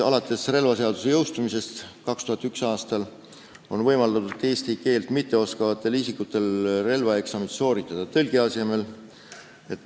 Alates relvaseaduse jõustumisest 2001. aastal on võimaldatud eesti keelt mitteoskavatel isikutel relvaeksamit sooritada tõlgi abil.